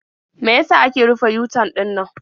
Me ya sa aka rufe yu-tan ɗinannan?